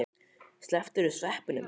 Slepptirðu sveppunum?